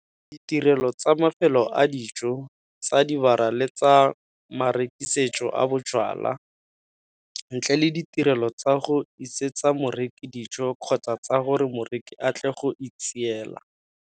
Ditirelo tsa mafelo a dijo, tsa dibara le tsa marekisetso a bojalwa, ntle le ditirelo tsa go isetsa moreki dijo kgotsa tsa gore moreki a tle go itseela.